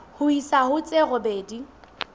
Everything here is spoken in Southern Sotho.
ho isa ho tse robedi